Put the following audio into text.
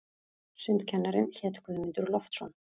Sundkennarinn hét Guðmundur Loftsson.